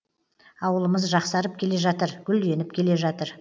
ауылымыз жақсарып келе жатыр гүлденіп келе жатыр